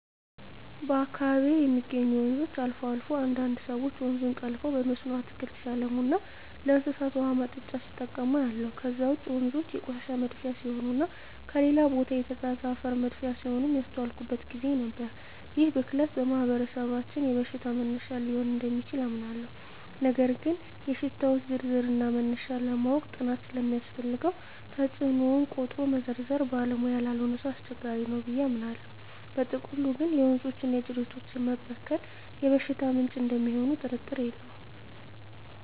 በአካባቢየ የሚገኙ ወንዞች አልፎ አልፎ አንዳንድ ሰወች ወንዙን ጠልፈው በመስኖ አትክልት ሲያለሙና ለእንስሳት ውሃ ማጠጫ ሲጠቀሙ አያለሁ። ከዛ ውጭ ወንዞ የቆሻሻ መድፊያ ሲሆኑና ከሌላ ቦታ የተጋዘ አፈር መድፊያ ሲሆኑም ያስተዋልኩበት ግዜ ነበር። ይህ ብክለት በማህበረሰባችን የበሽታ መነሻ ሊሆን እደሚችል አምናለሁ ነገር ግን የሽታወች ዝርዝርና መነሻ ለማወቅ ጥናት ስለሚያስፈልገው ተጽኖውን ቆጥሮ መዘርዘር ባለሙያ ላልሆነ ሰው አስቸጋሪ ነው ብየ አምናለው። በጥቅሉ ግን የወንዞችና የጅረቶች መበከል የበሽታ ምንጭ እደሚሆኑ ጥርጥር የለውም።